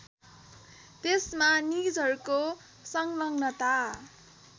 त्यसमा निजहरूको सङ्लग्नता